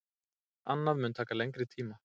Annað mun taka lengri tíma.